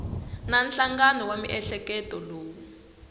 na nhlangano wa miehleketo lowu